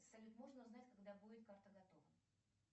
салют можно узнать когда будет карта готова